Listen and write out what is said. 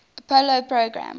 apollo program